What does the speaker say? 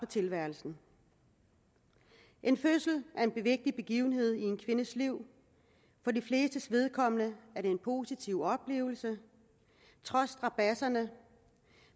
tilværelsen en fødsel er en vigtig begivenhed i en kvindes liv for de flestes vedkommende er det en positiv oplevelse trods strabadserne